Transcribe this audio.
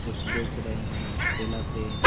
कुछ बेच रहे हैं ठेला पे ।